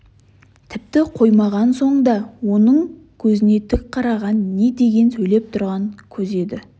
тіпті қоймаған соң да оның көзіне тік қараған не деген сөйлеп тұрған көз еді